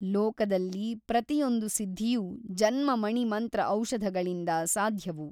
ಲೋಕದಲ್ಲಿ ಪ್ರತಿಯೊಂದು ಸಿದ್ಧಿಯೂ ಜನ್ಮ ಮಣಿ ಮಂತ್ರ ಔಷಧಗಳಿಂದ ಸಾಧ್ಯವು.